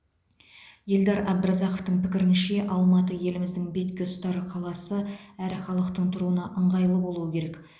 елдар әбдіразақовтың пікірінше алматы еліміздің бетке ұстар қаласы әрі халықтың тұруына ыңғайлы болуы керек